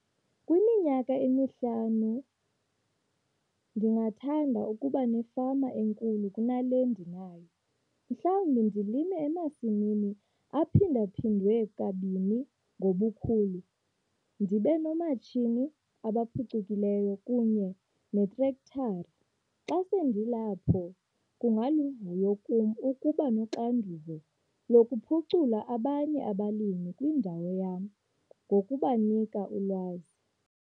Kwiminyaka emihlanu ndingathanda ukuba nefama enkulu kunale ndinayo - mhlawumbi ndilime emasimini aphinda-phindwe kabini ngobukhulu ndibe noomatshini abaphucukileyo kunye neetrektara. Xa sendilapho kungaluvuyo kum ukuba noxanduva lokuphucula abanye abalimi kwindawo yam ngokubanika ulwazi.